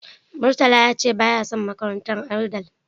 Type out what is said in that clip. Murtala ya ce baya son makarantar Andal.